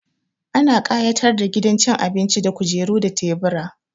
Ana ƙayatar da gidan cin abinci da kujeru da tebura.